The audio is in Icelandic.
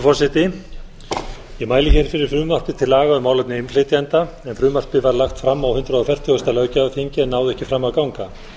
forseti ég mæli hér fyrir frumvarpi til laga um málefni innflytjenda en frumvarpið var lagt fram á hundrað fertugasta löggjafarþingi en náði ekki fram að ganga